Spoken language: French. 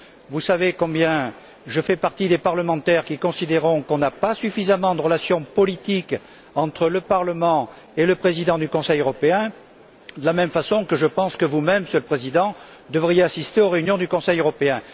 Vous savez que je fais partie, typiquement, des parlementaires qui considèrent qu'il n'y a pas suffisamment de relations politiques entre le Parlement et le Président du Conseil européen, de la même façon que je pense que vous même, Monsieur le Président, devriez assister aux réunions du Conseil européen.